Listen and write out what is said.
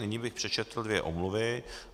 Nyní bych přečetl dvě omluvy.